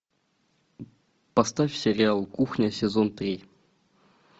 поставь сериал кухня сезон три